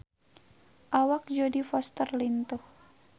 Awak Jodie Foster lintuh